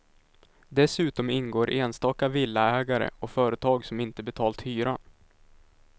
Dessutom ingår enstaka villaägare och företag som inte betalt hyran.